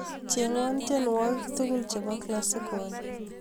Chenwan tienwogik tugul chebo Classical